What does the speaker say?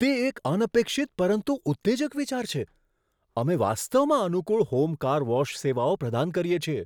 તે એક અનપેક્ષિત પરંતુ ઉત્તેજક વિચાર છે! અમે વાસ્તવમાં અનુકૂળ હોમ કાર વોશ સેવાઓ પ્રદાન કરીએ છીએ.